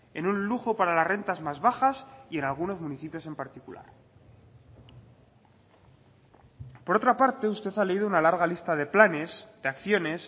en un lujo para las rentas más bajas y en algunos municipios en particular por otra parte usted ha leído una larga lista de planes de acciones